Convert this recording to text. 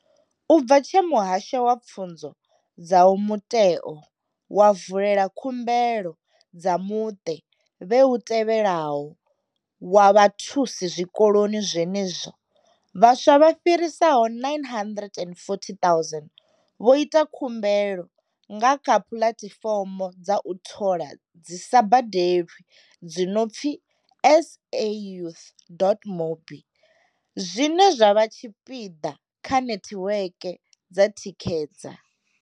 U bva tshe muhasho wa pfunzo dza u mutheo wa vulela khumbelo dza muṱe vhe u tevhelaho wa vhathusi zwikoloni zwenezwino, vhaswa vha fhiraho 940 000 vho ita khumbelo nga kha puḽatifomo dza u thola dzi sa badelwi dzi no pfi sayouth.mobi, zwine zwa vha tshipiḓa tsha netiweke dza thikedza.